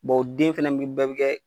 o den fɛnɛ b'i bɛɛ be kɛ